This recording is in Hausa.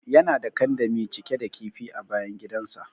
Yana da kandami cike da kifi a bayan gidan sa.